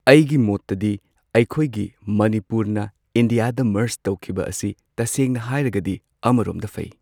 ꯑꯩꯒꯤ ꯃꯣꯠꯇꯗꯤ ꯑꯩꯈꯣꯏꯒꯤ ꯃꯅꯤꯄꯨꯔꯅ ꯏꯟꯗꯤꯌꯥꯗ ꯃꯔꯁ ꯇꯧꯈꯤꯕ ꯑꯁꯤ ꯇꯁꯦꯡꯅ ꯍꯥꯏꯔꯒꯗꯤ ꯑꯃꯔꯣꯝꯗ ꯐꯩ꯫